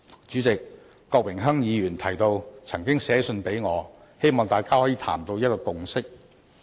主席，郭榮鏗議員提到他曾寫信給我，希望大家可以商談，取得共識。